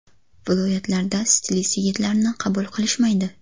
Viloyatlarda stilist yigitlarni qabul qilishmaydi.